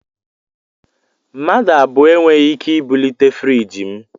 Mmadụ abụọ e nweghị ike ibulite friiji m